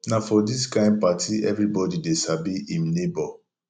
na for dis kain party everybodi dey sabi im nebo